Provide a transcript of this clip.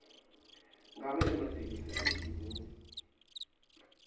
ngabe ematekisi alibhizinisi